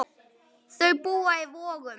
Þau búa í Vogum.